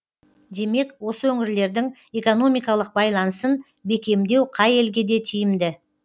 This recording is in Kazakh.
демек осы өңірлердің экономикалық байланысын бекемдеу қай елге де тиімді